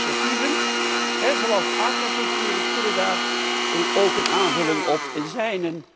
Nieuwe initiatieven, zoals aquacultuur, kunnen daar ook een aanvulling op zijn.